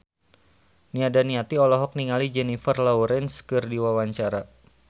Nia Daniati olohok ningali Jennifer Lawrence keur diwawancara